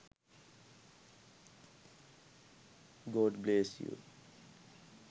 god bless you